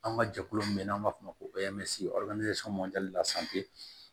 An ka jɛkulu min bɛ n'an b'a fɔ o ma ko